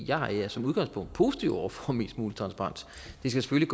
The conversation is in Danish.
jeg er som udgangspunkt positiv over for mest mulig transparens det skal